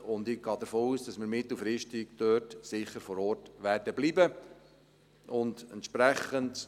Ich gehe davon aus, dass wir mittelfristig sicher vor Ort bleiben werden.